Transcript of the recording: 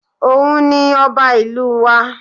Òun ni ọba ìlú wa